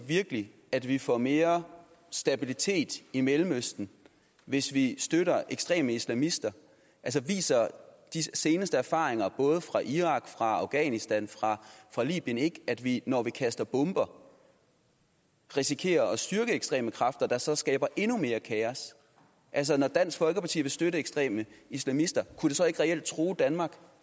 virkelig at vi får mere stabilitet i mellemøsten hvis vi støtter ekstreme islamister viser de seneste erfaringer både fra irak afghanistan og libyen ikke at vi når vi kaster bomber risikerer at styrke ekstreme kræfter der så skaber endnu mere kaos altså når dansk folkeparti vil støtte ekstreme islamister kunne det så ikke reelt true danmark